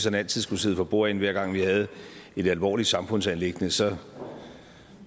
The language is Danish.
altid skulle sidde for bordenden hver gang vi havde et alvorligt samfundsanliggende så